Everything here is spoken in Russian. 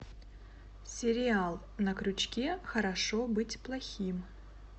сериал на крючке хорошо быть плохим